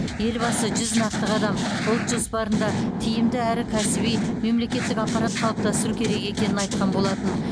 елбасы жүз нақты қадам ұлт жоспарында тиімді әрі кәсіби мемлекеттік аппарат қалыптастыру керек екенін айтқан болатын